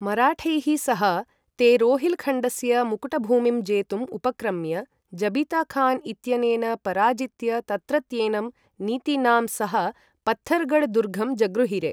मराठैः सह ते रोहिलखण्डस्य मुकुटभूमिं जेतुम् उपक्रम्य जबिता खान् इत्यनेन पराजित्य तत्रत्येनं नितिनां सह पत्थरघढ्दुर्घं जगृहिरे ।